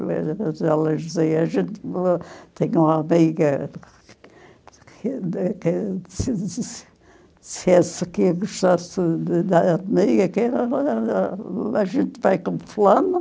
Elas diziam, a gente tem uma amiga, se se se se essa aqui gostasse da amiga, a gente vai com fulano.